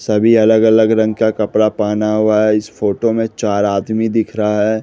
सभी अलग अलग रंग का कपड़ा पहना हुआ है इस फोटो में चार आदमी दिख रहा है।